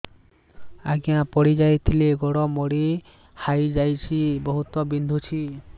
ଆଜ୍ଞା ପଡିଯାଇଥିଲି ଗୋଡ଼ ମୋଡ଼ି ହାଇଯାଇଛି ବହୁତ ବିନ୍ଧୁଛି